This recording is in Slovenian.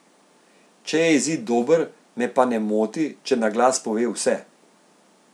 Če je izid dober, me pa ne moti, če na glas pove vse.